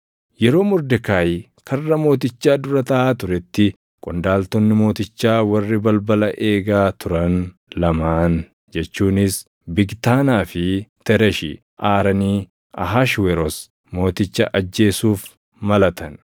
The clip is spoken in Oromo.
Yeroo Mordekaayi karra mootichaa dura taaʼaa turetti qondaaltonni mootichaa warri balbala eegaa turan lamaan jechuunis Bigtaanaa fi Tereshi aaranii Ahashweroos Mooticha ajeessuuf malatan.